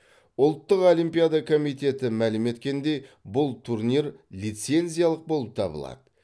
ұлттық олимпиада комитеті мәлім еткендей бұл турнир лицензиялық болып табылады